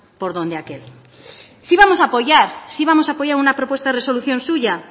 por donde aquel sí vamos a apoyar sí vamos a apoyar una propuesta de resolución suya